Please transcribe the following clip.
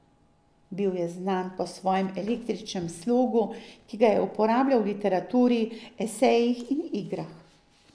Bil je znan po svojem eklektičnemu slogu, ki ga je uporabljal v literaturi, esejih in igrah.